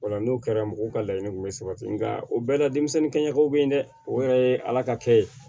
Ola n'o kɛra mɔgɔw ka laɲini kun bɛ sabati nka o bɛɛ la denmisɛnninkɛw bɛ ye dɛ o yɛrɛ ye ala ka kɛ ye